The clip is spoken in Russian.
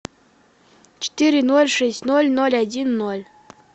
четыре ноль шесть ноль ноль один ноль